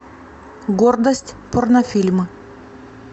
гордость порнофильмы